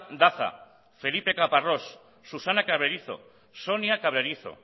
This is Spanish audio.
daza felipe caparrós susana cabrerizo sonia cabrerizo